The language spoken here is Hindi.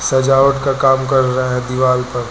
सजावट का काम कर रहा है दीवाल पर।